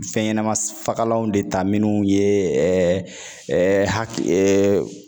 Fɛnɲanɛmafagalanw de ta minnu ye hakili